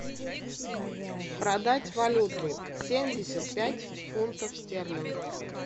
продать валюту семьдесят пять фунтов стерлингов